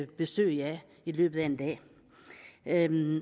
besøg af i løbet af en